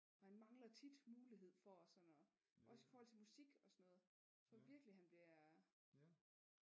For han mangler tit mulighed for at sådan at også i forhold til musik og sådan noget jeg tror virkelig han bliver